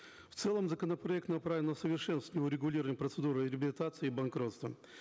в целом законопроект направлен на усовершенствование урегулирования процедуры реабилитации и банкротства